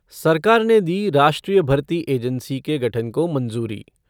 सरकार ने दी राष्ट्रीय भर्ती एजेन्सी के गठन को मंजूरी